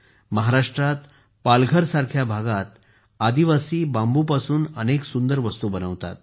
महाराष्ट्रातील पालघरसारख्या भागातही आदिवासी बांबूपासून अनेक सुंदर वस्तू बनवतात